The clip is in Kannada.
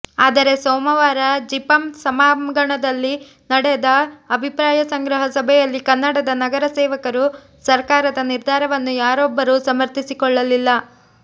ಆದರೆ ಸೋಮವಾರ ಜಿಪಂ ಸಭಾಂಗಣದಲ್ಲಿ ನಡೆದ ಅಭಿಪ್ರಾಯ ಸಂಗ್ರಹ ಸಭೆಯಲ್ಲಿ ಕನ್ನಡದ ನಗರ ಸೇವಕರು ಸರಕಾರದ ನಿರ್ಧಾರವನ್ನು ಯಾರೊಬ್ಬರು ಸಮರ್ಥಿಸಿಕೊಳ್ಳಲಿಲ್ಲ